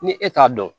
Ni e t'a dɔn